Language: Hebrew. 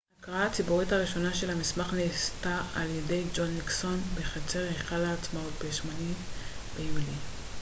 ההקראה הציבורית הראשונה של המסמך נעשתה על ידי ג'ון ניקסון בחצר היכל העצמאות ב-8 ביולי